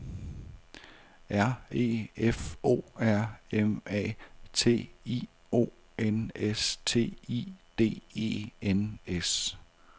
R E F O R M A T I O N S T I D E N S